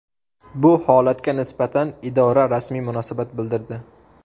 Bu holatga nisbatan idora rasmiy munosabat bildirdi .